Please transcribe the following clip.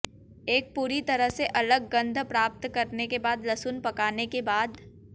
एक पूरी तरह से अलग गंध प्राप्त करने के बाद लहसुन पकाने के बाद